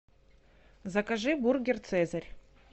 закажи бургер цезарь